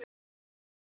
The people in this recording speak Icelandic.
Við unnum!